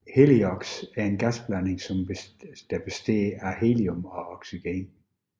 Heliox er en gasblanding der består af helium og oxygen